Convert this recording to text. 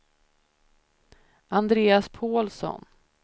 Andreas Pålsson